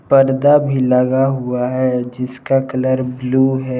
पर्दा भी लगा हुआ है जिसका कलर ब्लू है।